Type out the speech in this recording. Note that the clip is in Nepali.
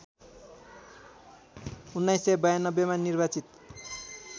१९९२ मा निर्वाचित